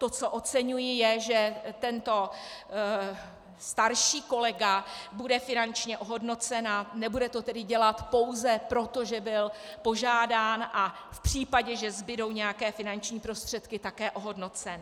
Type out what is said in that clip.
To, co oceňuji, je, že tento starší kolega bude finančně ohodnocen, a nebude to tedy dělat pouze proto, že byl požádán a v případě, že zbudou nějaké finanční prostředky, také ohodnocen.